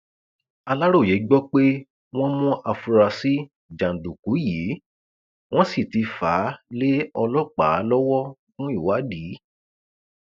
aláròye gbọ pé wọn mú àfúrásì jàǹdùkú yìí wọn sì ti fà á lé ọlọpàá lọwọ fún ìwádìí